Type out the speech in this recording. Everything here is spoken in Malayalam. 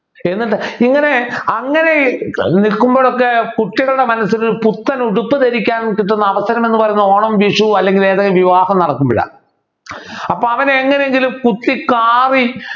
എന്നിട്ട് ഇങ്ങനെ അങ്ങനെ നിൽക്കുമ്പോഴൊക്കെ കുട്ടികളുടെ മനസ്സില് പുത്തനുടുപ്പ് ധരിക്കാൻ കിട്ടുന്ന അവസരം എന്ന് പറയുന്നത് ഓണം വിഷു അല്ലെങ്കിൽ ഏതെങ്കിലും വിവാഹം നടക്കുമ്പോൾ അപ്പൊ അവൻ എങ്ങനെയെങ്കിലും കുത്തി കാറി